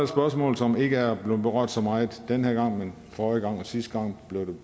spørgsmål som ikke er blevet berørt så meget den her gang men forrige gang og sidste gang blev det